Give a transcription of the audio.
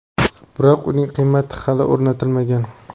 biroq uning qiymati hali o‘rnatilmagan.